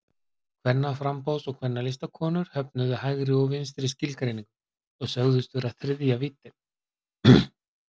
Kvennaframboðs- og Kvennalistakonur höfnuðu hægri og vinstri skilgreiningu og sögðust vera þriðja víddin.